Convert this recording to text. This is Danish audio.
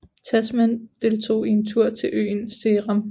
Tasman deltog i en tur til øen Seram